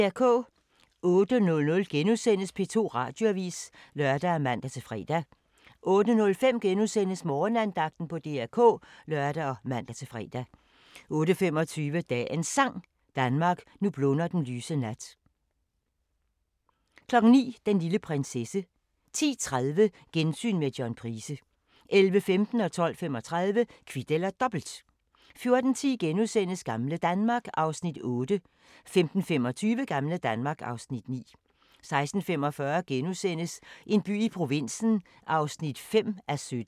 08:00: P2 Radioavis *(lør og man-fre) 08:05: Morgenandagten på DR K *(lør og man-fre) 08:25: Dagens Sang: Danmark, nu blunder den lyse nat 09:00: Den lille prinsesse 10:30: Gensyn med John Price 11:15: Kvit eller Dobbelt 12:35: Kvit eller Dobbelt 14:10: Gamle Danmark (Afs. 8)* 15:25: Gamle Danmark (Afs. 9) 16:45: En by i provinsen (5:17)*